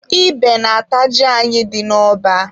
Ebe na-ata ji anyị dị n'ọba.